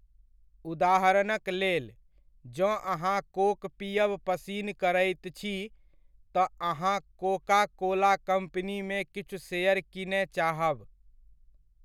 उदाहरणक लेल, जँ अहाँ कोक पीयब पसिन करैत छी, तँ अहाँ कोका कोला कम्पनीमे किछु शेयर कीनय चाहब।